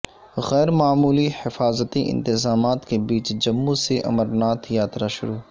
غیر معمولی حفاظتی انتظامات کے بیچ جموں سے امرناتھ یاترا شروع